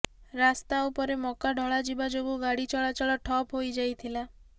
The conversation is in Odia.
ରାସ୍ତା ଉପରେ ମକା ଢଳାଯିବା ଯୋଗୁଁ ଗାଡ଼ି ଚଳାଚଳ ଠପ୍ ହୋଇଯାଇଥିଲା